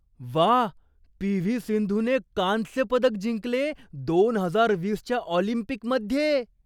वा, P. V. सिंधूने कांस्यपदक जिंकले दोन हजार वीसच्या ऑलिम्पिकमध्ये.